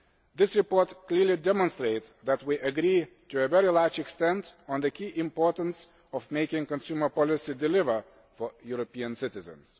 This report clearly demonstrates that we agree to a very large extent on the key importance of making consumer policy deliver for European citizens.